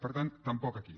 per tant tampoc aquí